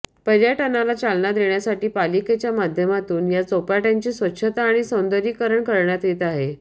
पर्यटनाला चालना देण्यासाठी पालिकेच्या माध्यमातून या चौपाट्यांची स्वच्छता आणि सौंदर्यीकरण करण्यात येत आहे